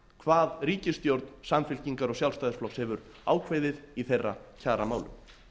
hvað ríkisstjórn samfylkingar og sjálfstæðisflokks hefur ákveðið í þeirra kjaramálum